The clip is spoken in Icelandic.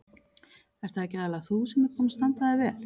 Ert það ekki aðallega þú sem ert búin að standa þig vel?